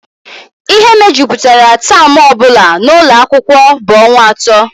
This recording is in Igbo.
Ihe mejupụtara taam ọ bụla n'ụlọ akwụkwọ bụ ọnwa atọ